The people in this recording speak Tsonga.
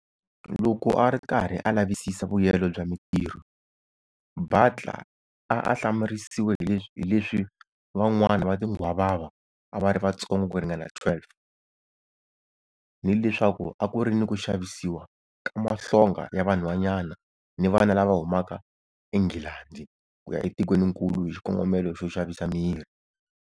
Loko a ri karhi a lavisisa vuyelo bya Mitirho, Butler a a hlamarisiwe hileswi van'wana va tinghwavava a va ri vatsongo ku ringana 12, ni leswaku a ku ri ni ku xavisiwa ka mahlonga ya vanhwanyana ni vana lava humaka eNghilandhi ku ya etikweninkulu hi xikongomelo xo xavisa miri.